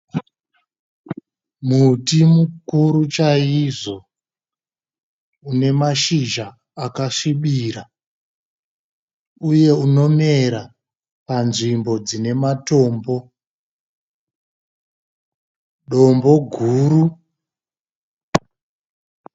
Muti mukuru chaizvo une mashizha akasvibirira uye unomera panzvimbo dzine matombo, dombo guru.